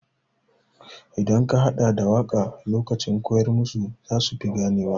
Idan ka haɗa da waƙa lokacin koyar musu za su fi gane wa.